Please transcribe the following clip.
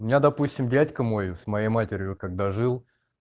у меня допустим дядька мой с моей матерью когда жил